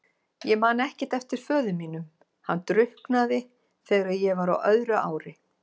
Ég man ekkert eftir föður mínum, hann drukknaði þegar ég var á öðru ári.